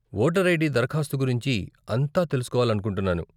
Voter ID దరఖాస్తు గురించి అంతా తెలుసుకోవాలనుకుంటున్నాను.